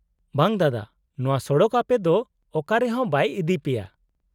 -ᱵᱟᱝ ᱫᱟᱫᱟ, ᱱᱚᱶᱟ ᱥᱚᱲᱚᱠ ᱟᱯᱮ ᱫᱚ ᱚᱠᱟᱨᱮ ᱦᱚᱸ ᱵᱟᱭ ᱤᱫᱤ ᱯᱮᱭᱟ ᱾